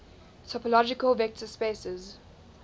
topological vector spaces